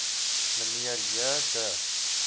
mnr j de